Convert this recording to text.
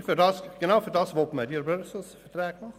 Genau dafür will man diese Ressourcenverträge machen.